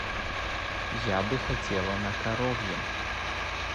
я бы хотела на коровьем